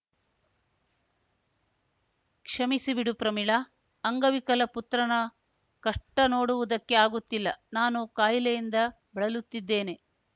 ಕ್ಷಮಿಸಿ ಬಿಡು ಪ್ರಮೀಳಾ ಅಂಗವಿಕಲ ಪುತ್ರನ ಕಷ್ಟನೋಡುವುದಕ್ಕೆ ಆಗುತ್ತಿಲ್ಲ ನಾನು ಕಾಯಿಲೆಯಿಂದ ಬಳಲುತ್ತಿದ್ದೇನೆ